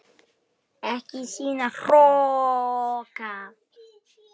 Ekki sýna hroka!